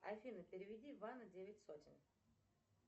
афина переведи ивану девять сотен